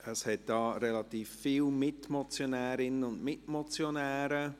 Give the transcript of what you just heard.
Es hat recht viele Mitmotionärinnen und Mitmotionäre.